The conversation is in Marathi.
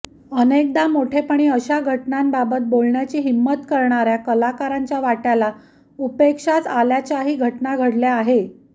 अनेकदा मोठेपणी अशा घटनांबाबत बोलण्याची हिंमत करणाऱ्या कलाकारांच्या वाट्याला उपेक्षाच आल्याच्याही घटना घडल्या आहे